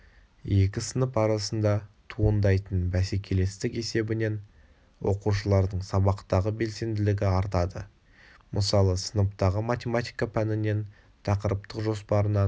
екі сынып арасында туындайтын бәсекелестік есебінен оқушылардың сабақтағы белсенділігі артады мысалы сыныптағы математика пәнінен тақырыптық жоспарынан